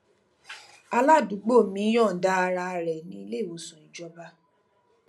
aládùúgbò mi yòǹda ara rè ní iléìwòsàn ìjọba